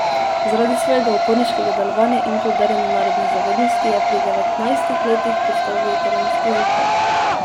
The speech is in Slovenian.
Zaradi svojega uporniškega delovanja in poudarjene narodne zavednosti je pri devetnajstih letih pristal v italijanskih zaporih.